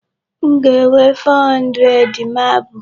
M ga-enwe 400 marble.